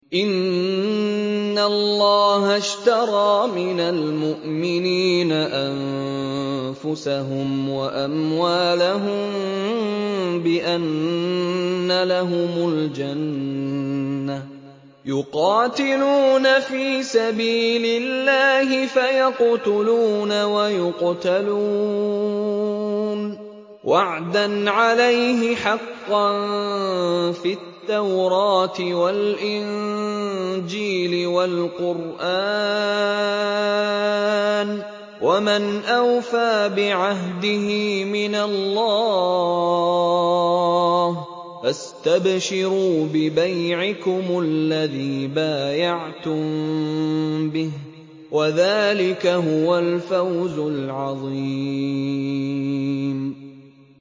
۞ إِنَّ اللَّهَ اشْتَرَىٰ مِنَ الْمُؤْمِنِينَ أَنفُسَهُمْ وَأَمْوَالَهُم بِأَنَّ لَهُمُ الْجَنَّةَ ۚ يُقَاتِلُونَ فِي سَبِيلِ اللَّهِ فَيَقْتُلُونَ وَيُقْتَلُونَ ۖ وَعْدًا عَلَيْهِ حَقًّا فِي التَّوْرَاةِ وَالْإِنجِيلِ وَالْقُرْآنِ ۚ وَمَنْ أَوْفَىٰ بِعَهْدِهِ مِنَ اللَّهِ ۚ فَاسْتَبْشِرُوا بِبَيْعِكُمُ الَّذِي بَايَعْتُم بِهِ ۚ وَذَٰلِكَ هُوَ الْفَوْزُ الْعَظِيمُ